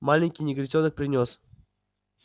маленький негритёнок принёс